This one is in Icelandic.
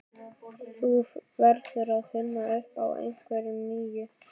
Þú verður að finna upp á einhverju nýju.